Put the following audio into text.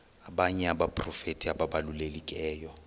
abanye abaprofeti ababalulekileyo